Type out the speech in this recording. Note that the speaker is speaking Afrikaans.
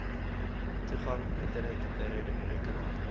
toegang internet rekenaar